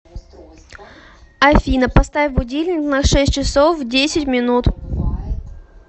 афина поставь будильник на шесть часов десять минут